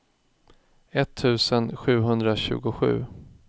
etttusen sjuhundratjugosju